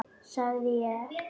sagði ég.